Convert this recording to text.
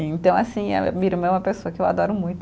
Então, assim, a minha irmã é uma pessoa que eu adoro muito.